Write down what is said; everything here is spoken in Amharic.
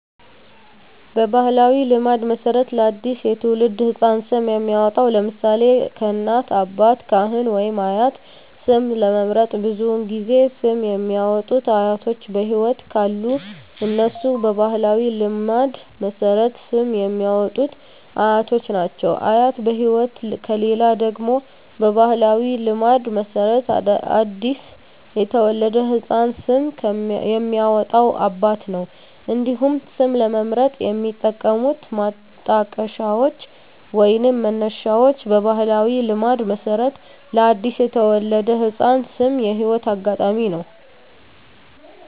በባሕላዊ ልማድ መሠረት ለ አዲስ የተወለደ ሕፃን ስም የሚያወጣዉ (ለምሳሌ: ከእናት፣ አባት፣ ካህን ወይም አያት) ስም ለመምረጥ ብዙውን ጊዜ ስም የሚያወጡት አያቶች በህይወት ካሉ እነሱ በባህላዊ ልማድ መሠረት ስም የሚያወጡት አያቶች ናቸው። አያት በህይወት ከሌሉ ደግሞ በባህላዊ ልማድ መሠረት ለአዲስ የተወለደ ህፃን ስም የሚያወጣው አባት ነው። እንዲሁም ስም ለመምረጥ የሚጠቀሙት ማጣቀሻዎች ወይንም መነሻዎች በባህላዊ ልማድ መሠረት ለአዲስ የተወለደ ህፃን ስም የህይወት አጋጣሚ ነው።